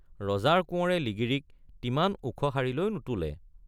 ৰজাৰ কোঁৱৰে লিগিৰীক তিমান ওখ শাৰীলৈ নোতোলে।